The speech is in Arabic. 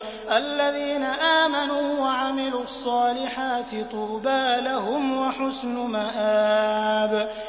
الَّذِينَ آمَنُوا وَعَمِلُوا الصَّالِحَاتِ طُوبَىٰ لَهُمْ وَحُسْنُ مَآبٍ